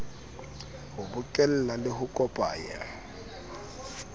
ho bokella le ho kopanya